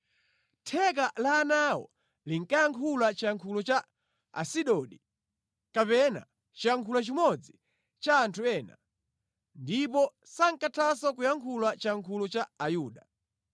Theka la ana awo linkayankhula chiyankhulo cha Asidodi kapena chiyankhulo chimodzi cha anthu ena, ndipo sankathanso kuyankhula chiyankhulo cha Ayuda.